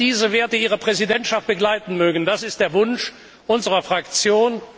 Dass diese Werte Ihre Präsidentschaft begleiten mögen, ist der Wunsch unserer Fraktion.